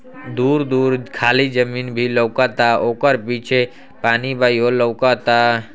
दूर-दूर खाली जमीन भी लौकता। ओकर पीछे पानी बा इहो लौउकता।